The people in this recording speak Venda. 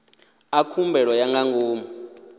a khumbelo ya nga ngomu